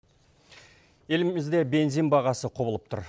елімізде бензин бағасы құбылып тұр